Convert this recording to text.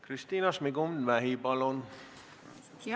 Kristina Šmigun-Vähi, palun!